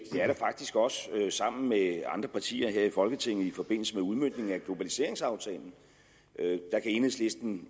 det er der faktisk også sammen med andre partier her i folketinget i forbindelse med udmøntningen af globaliseringsaftalen enhedslisten